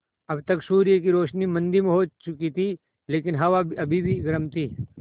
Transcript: अब तक सूर्य की रोशनी मद्धिम हो चुकी थी लेकिन हवा अभी भी गर्म थी